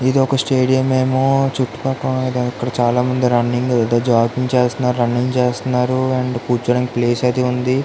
ఇది ఒక స్టేడియం ఏమో చుట్టూ పక్కల చాల మంది ఇక్కడ రన్నింగ్ జాగ్గింగ్ చేస్తున్నారు రన్నింగ్ చేస్తున్నారు అండ్ కూర్చోడానికి ప్లేస్ అయతే ఉంది.